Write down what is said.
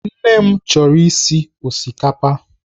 Nne m chọrọ isi osikapa.